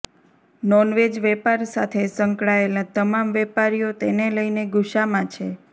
non veg વેપાર સાથે સંકળાયેલા તમામ વેપારીઓ તેને લઈને ગુસ્સામાં છે